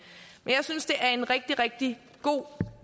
jeg synes det er en rigtig rigtig god